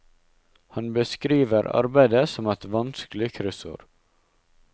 Han beskriver arbeidet som et vanskelig kryssord.